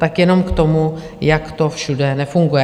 Tak jenom k tomu, jak to všude nefunguje.